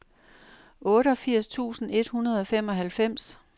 otteogfirs tusind et hundrede og femoghalvfems